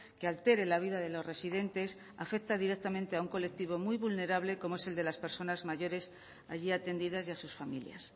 que altere la vida de los residentes afecta directamente a un colectivo muy vulnerable como es el de las personas mayores allí atendidas y a sus familias